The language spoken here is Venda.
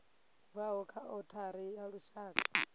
bvaho kha othari ya lushaka